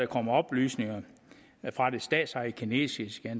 kommet oplysninger fra det statsejede kinesiske